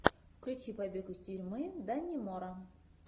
включи побег из тюрьмы даннемора